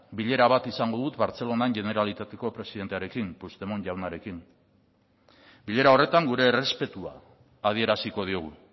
bilera bat izango dut bartzelonan generalitateko presidentearekin puigdemont jaunarekin bilera horretan gure errespetua adieraziko diogu